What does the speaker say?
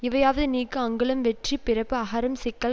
இவையாவது நீக்கு அங்குளம் வெற்றி பிறப்பு அகரம் சிக்கல்